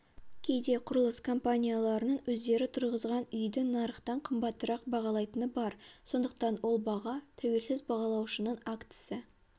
кейде құрылыс компанияларының өздері тұрғызған үйді нарықтан қымбатырақ бағалайтыны бар сондықтан ол баға тәуелсіз бағалаушының актісі